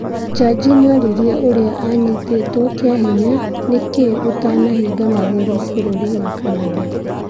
Jaji nĩoririe ũrĩa anyitĩtwe kĩahinya "nĩkĩĩ ũtanabinga magũrũ" bũrũri wa Canada